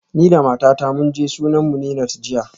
Ni da matata mun je sunan Munirat jiya